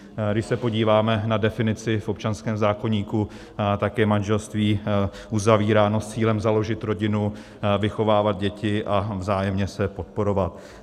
Když se podíváme na definici v občanském zákoníku, tak je manželství uzavíráno s cílem založit rodinu, vychovávat děti a vzájemně se podporovat.